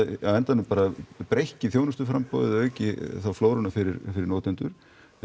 á endanum breikki þjónustuframboðið auki þá flóruna fyrir fyrir notendur